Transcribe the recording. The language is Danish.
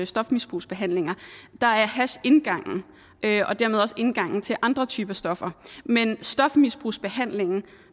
stofmisbrugsbehandlinger er hash indgangen og dermed også indgangen til andre typer stoffer men stofmisbrugsbehandlingen